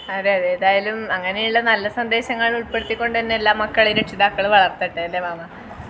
അതെ അതെ ഏതായാലും അങ്ങിനെ ഉള്ള നല്ല സന്ദേശങ്ങൾ ഉൾപ്പെടുത്തി കൊണ്ട് തന്നെ എല്ലാ മക്കളേം രക്ഷിതാക്കൾ വളർത്തട്ടെ അല്ലെ മാമ